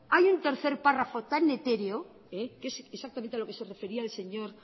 hay un tercer párrafo tan etéreo que es exactamente a lo que refería el señor